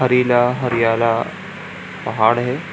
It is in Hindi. हरिला हरियाला पहाड़ है।